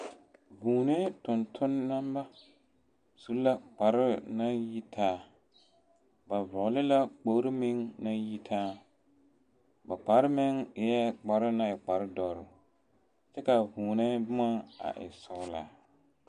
Vūūnee tontoneba su la kparɛɛ naŋ yitaa, ba vɔgele la kpori meŋ naŋ yitaa, ba kpare meŋ eɛ kpare naŋ e kpare dɔre kyɛ ka a vūūnee boma a e sɔgelaa.